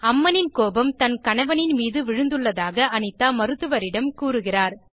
அம்மனின் கோபம் தன் கணவனின் மீது விழுந்துள்ளதாக அனிதா மருத்துவரிடம் கூறுகிறார்